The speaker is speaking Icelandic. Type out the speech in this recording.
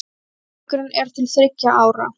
Samningurinn er til þriggja ára